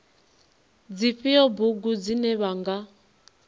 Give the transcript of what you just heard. dzifhio bugu dzine vha nga